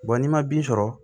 n'i ma bin sɔrɔ